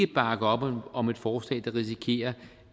bakke op om et forslag der risikerer